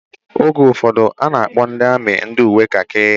Oge ụfọdụ a na-akpọ ndị amị ndị uwe kakị